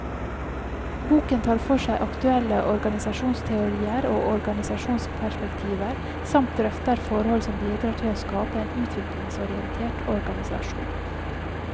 Boken tar for seg aktuelle organisasjonsteorier og organisasjonsperspektiver, samt drøfter forhold som bidrar til å skape en utviklingsorientert organisasjon.